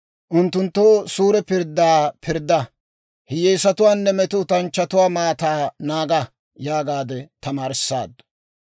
Unttunttoo suure pirddaa pirdda; hiyyeesatuwaanne metootanchchatuwaa maataa naaga» yaagaade tamaarissaaddu.